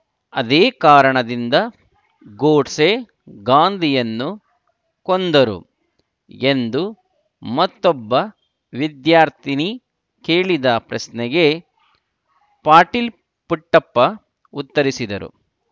ಅದೇ ಕಾರಣದಿಂದ ಗೋಡ್ಸೆ ಗಾಂಧಿಯನ್ನು ಕೊಂದರು ಎಂದು ಮತ್ತೊಬ್ಬ ವಿದ್ಯಾರ್ಥಿನಿ ಕೇಳಿದ ಪ್ರಶ್ನೆಗೆ ಪಾಟೀಲ್‌ ಪುಟ್ಟಪ್ಪ ಉತ್ತರಿಸಿದರು